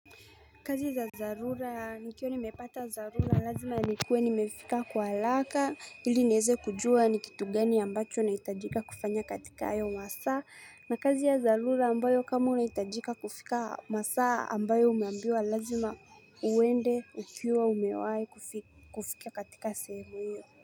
Kazi za dharura nikiw nimepata dharura lazima nikue nimefika kwa haraka ili niweze kujua ni kitu gani ambacho nahitajika kufanya katika hayo masaa na kazi ya dharura ambayo kama unahitajika kufika masaa ambayo umeambiwa lazima uende ukiwa umewai kufika katika sehemu iyo.